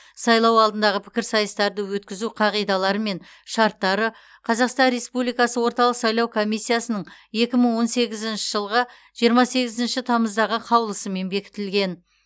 сайлау алдындағы пікірсайыстарды өткізу қағидалары мен шарттары қазақстан республикасы орталық сайлау комиссиясының екі мың он сегізінші жылғы жиырма сегізінші тамыздағы қаулысымен бекітілген